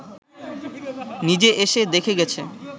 নিজে এসে দেখে গেছে